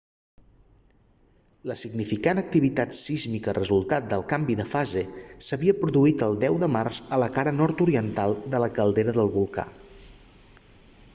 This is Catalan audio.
la significant activitat sísmica resultat del canvi de fase s'havia produït el 10 de març a la cara nord-oriental de la caldera del volcà